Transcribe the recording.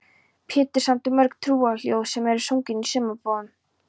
Pétur samdi mörg trúarljóð sem enn eru sungin í sumarbúðunum.